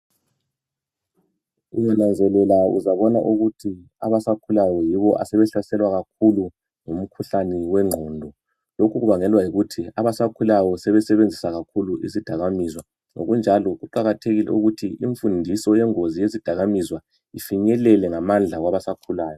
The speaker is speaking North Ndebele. Ungananzelela uzabona ukuthi abasakhulayo yibo asebehlaselwa kakhulu ngumkhuhlane wengqondo .Lokhu kubangelwa yikuthi abasakhulayo sebesebenzisa kakhulu izidakamizwa. Ngokunjalo kuqakathekile ukuthi infundiso yengozi yezidakamizwa ifinyelele ngamandla kwabasakhulayo.